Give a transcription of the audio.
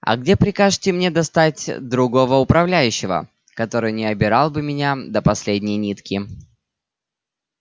а где прикажете мне достать другого управляющего который не обирал бы меня до последней нитки